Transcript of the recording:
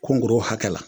Kungo hakɛ la